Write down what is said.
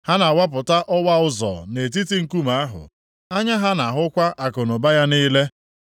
Ha na-awapụta ọwa ụzọ nʼetiti nkume ahụ, anya ha na-ahụkwa akụnụba ya niile.